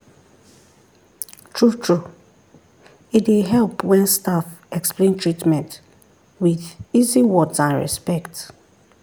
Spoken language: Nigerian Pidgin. true-true e dey help when staff explain treatment with easy words and respect.